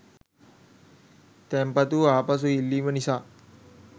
තැන්පතු ආපසු ඉල්ලීම නිසා